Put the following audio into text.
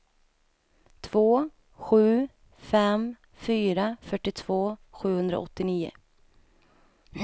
två sju fem fyra fyrtiotvå sjuhundraåttionio